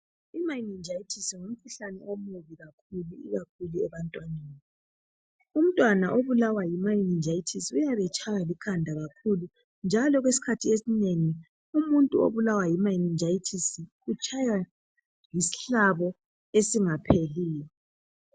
Imaninjayithisi ngumkhuhlane omubi kakhulu ikakhulu ebantwaneni. Umtwana obulawa yi maninjayithisi uyabe etshaywa likhanda kakhulu njalo okwesikhathi esinengi umuntu obulawa yi maninjayithisi utshaywa yisihlabo esingapheliyo.